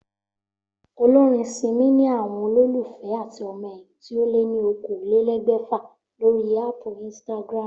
Olórin Simi ni àwo̩n olólùfé àti o̩mo̩ è̩yìn tí ó lé ní okòólélé̩gbè̩fà lórí áàpù Instagram